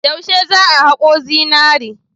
Yaushe za a hako zinari?